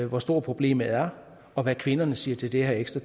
hvor stort problemet er og hvad kvinderne siger til det her ekstra